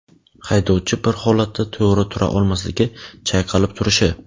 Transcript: haydovchi bir holatda to‘g‘ri tura olmasligi (chayqalib turishi);.